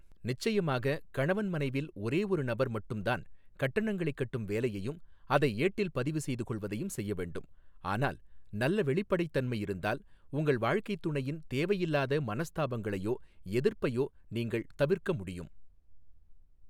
நிச்சயமாக, கணவன் மனைவில் ஒரே ஒரு நபர் மட்டும் தான் கட்டணங்களை கட்டும் வேலையையும் அதை ஏட்டில் பதிவு செய்து கொள்வதையும் செய்ய வேண்டும், ஆனால் நல்ல வெளிப்படைத்தன்மை இருந்தால், உங்கள் வாழ்க்கைத் துணையின் தேவையில்லாத மனஸ்தாபங்களையோ எதிர்ப்பையோ நீங்கள் தவிர்க்க முடியும்.